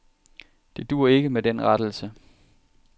Det duer ikke med den rettelse.